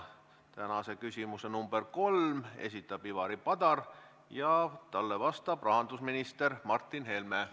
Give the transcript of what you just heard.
Tänase küsimuse nr 3 esitab Ivari Padar ja talle vastab rahandusminister Martin Helme.